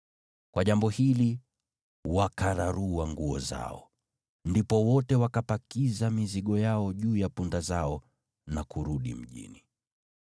Kwa jambo hili, wakararua nguo zao. Ndipo wote wakapakiza mizigo yao juu ya punda zao na kurudi mjini.